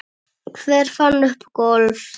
Hver fann upp golf?